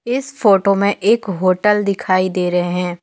इस फोटो में एक होटल दिखाई दे रहे हैं।